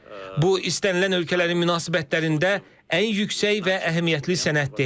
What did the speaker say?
Bu istənilən ölkələrin münasibətlərində ən yüksək və əhəmiyyətli sənəddir.